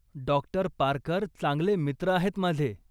डॉ. Parker चांगले मित्र आहेत माझे.